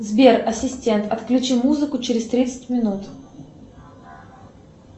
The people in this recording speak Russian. сбер ассистент отключи музыку через тридцать минут